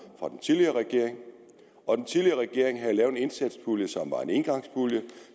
fra den tidligere regering og den tidligere regering havde lavet en indsatspulje som var en engangspulje